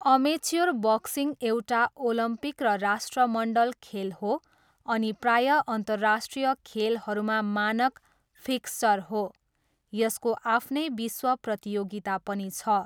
Amateur boxing एउटा Olympic र राष्ट्रमण्डल खेल हो अनि प्राय अन्तर्राष्ट्रिय खेलहरूमा मानक फिक्स्चर हो। यसको आफ्नै विश्व प्रतियोगिता पनि छ।